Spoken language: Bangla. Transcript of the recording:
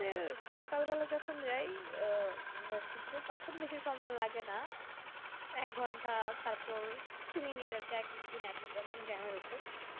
মানে সকালবেলায় যখন যাই আহ versity তে তখন বেশি সময় লাগে না এক ঘন্টা তারপর কিছু minutes আর কি এক একদিন এক একরকম jam ওপর